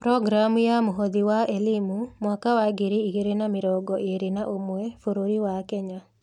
Programu ya Mũhothi wa Elimu mwaka wa ngiri igĩrĩ na mĩrongo ĩĩrĩ na ũmwe bũrũri wa Kenya.